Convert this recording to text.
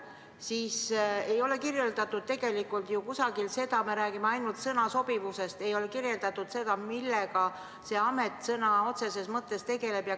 " Seal ei olnud tegelikult kirjeldatud – me räägime ainult sõna sobivusest –, millega see amet sõna otseses mõttes tegeleb.